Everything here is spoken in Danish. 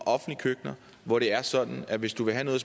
hvor det er sådan at hvis du vil have noget